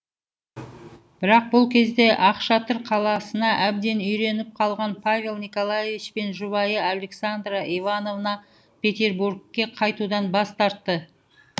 бірақ бұл кезде ақшатыр қаласына әбден үйреніп қалған павел николаевич пен жұбайы александра ивановна петербургке қайтудан бас тартты